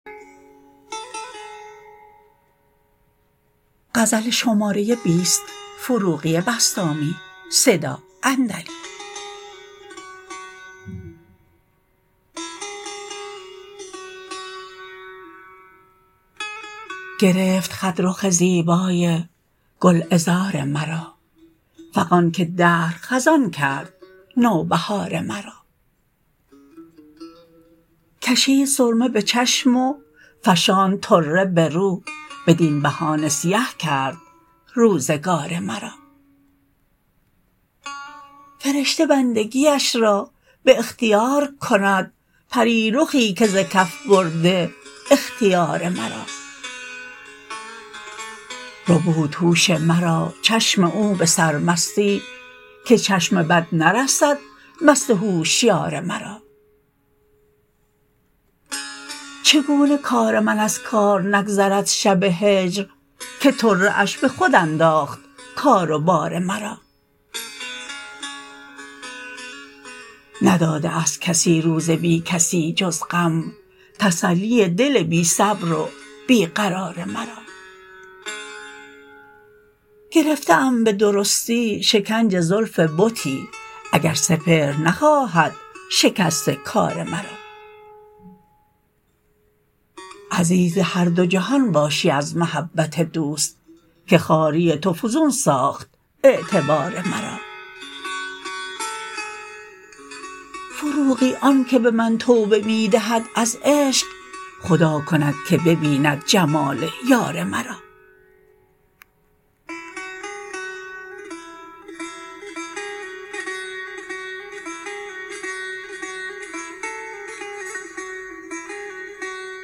گرفت خط رخ زیبای گل عذار مرا فغان که دهر خزان کرد نوبهار مرا کشیدسرمه به چشم و فشاند طره به رو بدین بهانه سیه کرد روزگار مرا فرشته بندگیش را به اختیار کند پری رخی که ز کف برده اختیار مرا ربود هوش مرا چشم او به سرمستی که چشم بد نرسد مست هوشیار مرا چگونه کار من از کار نگذرد شب هجر که طره اش به خود انداخت کار و بار مرا نداده است کسی روز بی کسی جز غم تسلی دل بی صبر و بی قرار مرا گرفته ام به درستی شکنج زلف بتی اگر سپهر نخواهد شکست کار مرا عزیز هر دو جهان باشی از محبت دوست که خواری تو فزون ساخت اعتبار مرا فروغی آن که به من توبه می دهد از عشق خدا کند که ببیند جمال یار مرا